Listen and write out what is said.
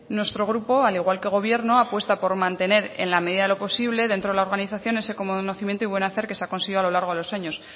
nuestro grupo al igual que el gobierno apuesta por mantener en la medida de lo posible dentro de la organización ese conocimiento y buen hacer que se ha conseguido a lo largo de los años